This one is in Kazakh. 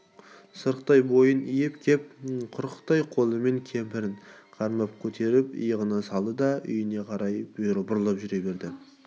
сырықтай бойын иіп кеп құрықтай қолымен кемпірін қармап көтеріп иығына салды да үйіне қарай бұрылып жүре берді